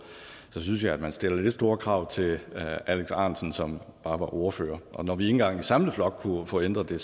så synes jeg man stiller lidt store krav til alex ahrendtsen som bare var ordfører og når vi ikke engang i samlet flok kunne få ændret det